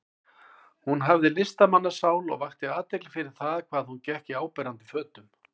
Hún hafði listamannssál og vakti athygli fyrir það hvað hún gekk í áberandi fötum.